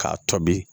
K'a tobi